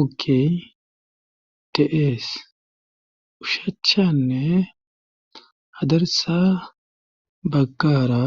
oke teees ushaachanne hadarsa baggaara.